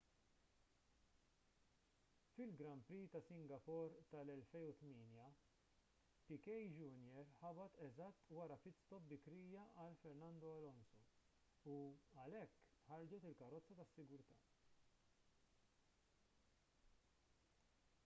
fil-grand prix ta' singapore tal-2008 piquet jr ħabat eżatt wara pit stop bikrija għal fernando alonso u għalhekk ħarġet il-karozza tas-sigurtà